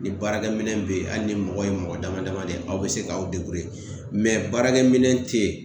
Ni baarakɛminɛn bɛ yen hali ni mɔgɔ ye mɔgɔ damadama de ye aw bɛ se k'aw baarakɛminɛn tɛ yen